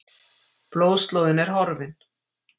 Blóðslóðin er horfin.